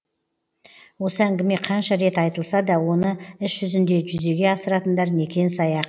осы әңгіме қанша рет айтылса да оны іс жүзінде жүзеге асыратындар некен саяқ